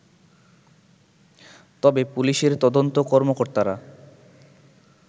তবে পুলিশের তদন্ত কর্মকর্তারা